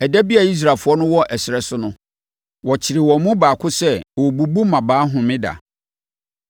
Ɛda bi a Israelfoɔ no wɔ ɛserɛ so no, wɔkyeree wɔn mu baako sɛ ɔrebubu mmabaa homeda.